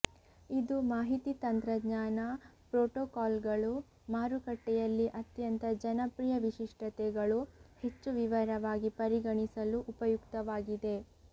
ಇದು ಮಾಹಿತಿ ತಂತ್ರಜ್ಞಾನ ಪ್ರೋಟೋಕಾಲ್ಗಳು ಮಾರುಕಟ್ಟೆಯಲ್ಲಿ ಅತ್ಯಂತ ಜನಪ್ರಿಯ ವಿಶಿಷ್ಟತೆಗಳು ಹೆಚ್ಚು ವಿವರವಾಗಿ ಪರಿಗಣಿಸಲು ಉಪಯುಕ್ತವಾಗಿದೆ